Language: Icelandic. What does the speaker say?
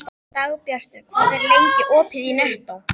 Dagbjartur, hvað er lengi opið í Nettó?